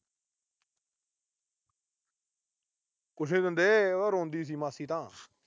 ਕੁੱਛ ਨੀ ਦਿੰਦੇ। ਉਹ ਤਾਂ ਰੋਂਦੀ ਸੀ ਮਾਸੀ ਤਾਂ।